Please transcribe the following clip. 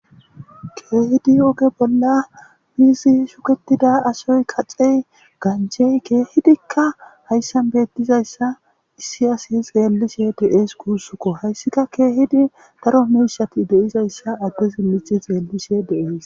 Keehidi oge bolla miizi shuketida asoy kaxey ganchey kehidikka hayssan beettizayssa issi asi xeellishe deees kuussukko hayssika keehidi daro meishati deizayssa addezi mici xeellishe deees